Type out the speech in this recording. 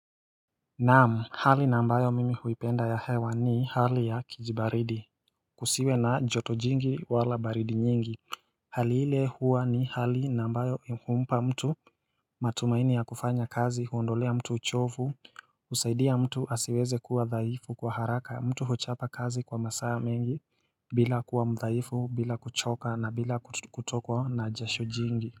Naam hali na ambayo mimi huipenda ya hewa ni hali ya kijibaridi Kusiwe na joto jingi wala baridi nyingi Hali ile huwa ni hali na ambayo humpa mtu matumaini ya kufanya kazi huondolea mtu uchovu husaidia mtu asiweze kuwa dhaifu kwa haraka mtu huchapa kazi kwa masaa mengi bila kuwa mdhaifu bila kuchoka na bila kutokwa na jasho jingi.